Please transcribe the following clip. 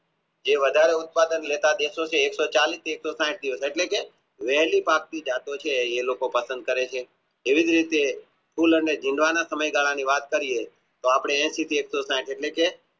જે વધારે ઉત્પાદન લેતા દેશો છે એકસો ચાલીશ એક સો સાહીઠ એટલે કે વહેલી પાકતી જતો છે એ લોકો પસંદ કરે છે એવી જ રીતે ફૂલ અને જીવડાંના સમય ગાલા ની વાત કરીયે તો આપણે એંશી દેશો છે એટલે કે